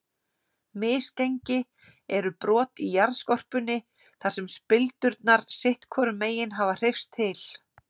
Misgengi eru brot í jarðskorpunni þar sem spildurnar sitt hvorum megin hafa hreyfst til.